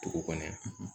Dugu kɔnɔ